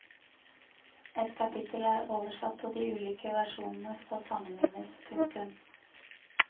Et kapittel er oversatt og de ulike versjonene skal sammenlignes. punktum